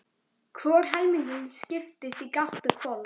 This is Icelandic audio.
Hvor helmingurinn skiptist í gátt og hvolf.